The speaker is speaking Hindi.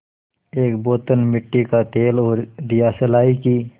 एक बोतल मिट्टी का तेल और दियासलाई की